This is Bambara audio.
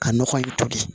Ka nɔgɔ in toli